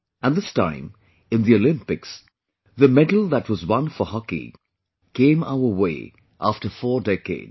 And this time, in the Olympics, the medal that was won for hockey came our way after four decades